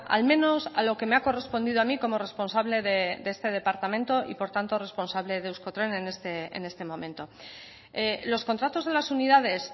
al menos a lo que me ha correspondido a mí como responsable de este departamento y por tanto responsable de euskotren en este momento los contratos de las unidades